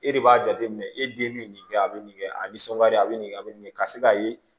E de b'a jateminɛ e den bɛ nin kɛ a bɛ nin kɛ a bɛ nisɔndiya a bɛ nin a bɛ nin kɛ ka se k'a ye